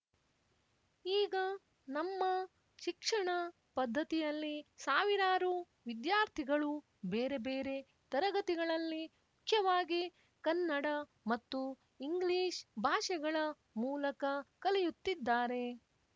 ಈಗ ನಮ್ಮ ಶಿಕ್ಷಣ ಪದ್ಧತಿಯಲ್ಲಿ ಸಾವಿರಾರು ವಿದ್ಯಾರ್ಥಿಗಳು ಬೇರೆ ಬೇರೆ ತರಗತಿಗಳಲ್ಲಿ ಮುಖ್ಯವಾಗಿ ಕನ್ನಡ ಮತ್ತು ಇಂಗ್ಲಿಷ್ ಭಾಷೆಗಳ ಮೂಲಕ ಕಲಿಯುತ್ತಿದ್ದಾರೆ